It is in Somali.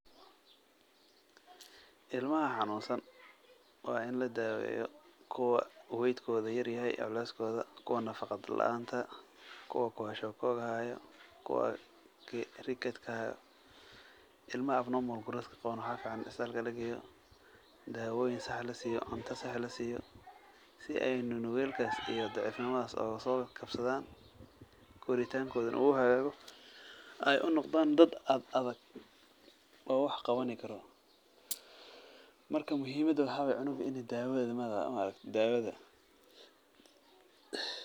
Ilmaha xanuunsan, waa in ladaaweyo, kuwa weight kooda yar yahay, culeeskooda, kuwa nafaqa laanta, kuwa kwashiorkor haayo, kuwa rickets haayo, ilmaha waxaa fican isbitaalka in lageeyo, daawoyin sax ah lasiiyo, cunto sax lasiiyo, si aay nugeelkaas iyo daciif nimadaas ooga soo kabsadaan, koritaan kooda uu hagaago, aay unoqdaan dad adadag, oo wax qabani karo, marka muhiimada waxaa waye cunuga in daawada.